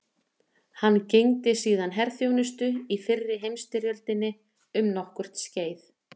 Hann gegndi síðan herþjónustu í fyrri heimstyrjöldinni um nokkurt skeið.